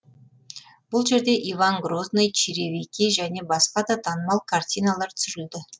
бұл жерде иван грозный черевики және басқа да танымал картиналар түсірілді